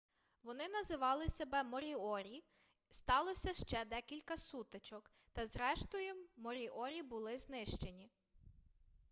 вони називали себе моріорі сталося ще декілька сутичок та зрештою моріорі були знищені